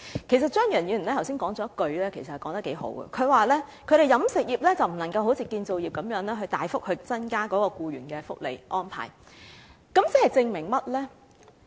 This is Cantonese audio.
其實張宇人議員剛才有一句話說得很不錯，他說飲食業不能好像建造業那樣大幅增加僱員的福利安排，這證明了甚麼呢？